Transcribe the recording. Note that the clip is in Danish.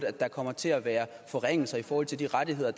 at der kommer til at være forringelser i forhold til de rettigheder